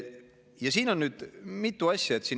Ja siin on nüüd mitu asja.